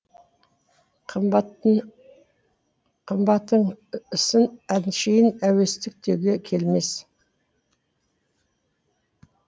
қымбаттың ісін әншейін әуестік деуге келмес